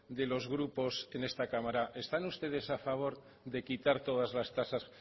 de los grupos en esta cámara están ustedes a favor de quitar todas las tasas